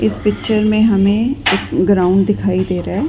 इस पिक्चर मे हमे एक ग्राउंड दिखाई दे रहा है।